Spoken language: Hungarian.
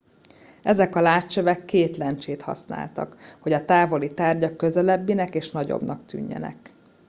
ezek a látcsövek két lencsét használtak hogy a távoli tárgyak közelebbinek és nagyobbnak tűnjenek